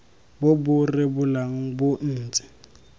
bo bo rebolang bo ntse